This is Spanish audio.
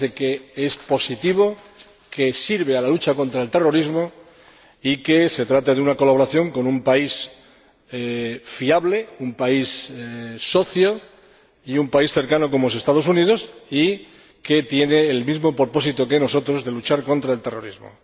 Nos parece que es positivo, que sirve a la lucha contra el terrorismo y que se trata de una colaboración con un país fiable, un país socio y un país cercano, como son los Estados Unidos, y que tiene el mismo propósito que nosotros luchar contra el terrorismo.